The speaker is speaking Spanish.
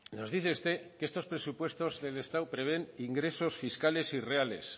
nos dice usted que estos presupuestos del estado prevén ingresos fiscales irreales